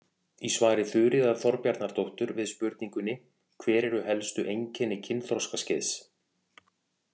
Í svari Þuríðar Þorbjarnardóttur við spurningunni: Hver eru helstu einkenni kynþroskaskeiðs?